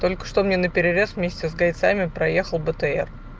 только что мне наперерез вместе с гайцами проехал бтр